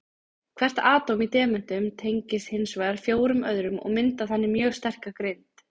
Hvert atóm í demöntum tengist hins vegar fjórum öðrum og myndar þannig mjög sterka grind.